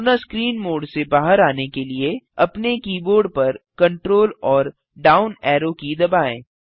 पूर्ण screen mode से बाहर आने के लिए अपने कीबोर्ड पर Ctrl amp down arrow key दबाएँ